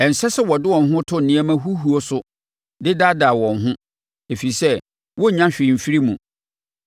Ɛnsɛ sɛ wɔde wɔn ho to nneɛma huhuo so de daadaa wɔn ho, ɛfiri sɛ wɔrennya hwee mfiri mu.